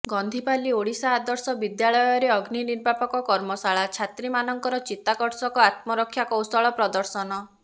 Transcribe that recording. ଗନ୍ଧିପାଲି ଓଡିଶା ଆଦର୍ଶ ବିଦ୍ୟାଳୟରେ ଅଗ୍ନିନିର୍ବିପାକ କର୍ମଶାଳା ଛାତ୍ରୀ ମାନଙ୍କର ଚିତାକର୍ଷକ ଆତ୍ମରକ୍ଷା କୌଶଳ ପ୍ରଦର୍ଶନ